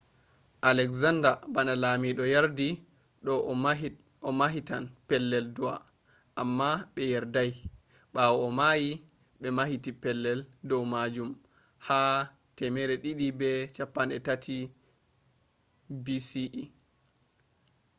alexander bana lamiɗo yardi do o mahitan pellel du'a amma be yardai. bawo o mayi be mahiti pellel du’a majum ha 323 bce